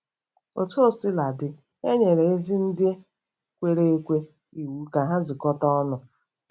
Otu o sila dị, e nyere ezi ndị kwere ekwe iwu ka ha zukọta ọnụ.